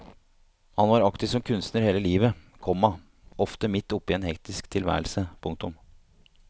Han var aktiv som kunstner hele livet, komma ofte midt oppe i en hektisk tilværelse. punktum